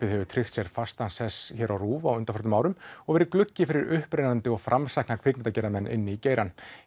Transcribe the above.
hefur tryggt sér fastan sess hér á RÚV á undanförnum árum og verið gluggi fyrir marga upprennandi og framsækna kvikmyndagerðarmenn inn í geirann